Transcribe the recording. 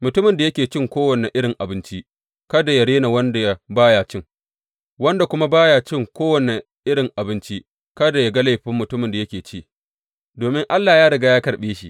Mutumin da yake cin kowane irin abinci, kada yă rena wanda ba ya cin, wanda kuma ba ya cin kowane irin abinci, kada yă ga laifin mutumin da yake ci, domin Allah ya riga ya karɓe shi.